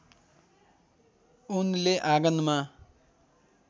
उनले आँगनमा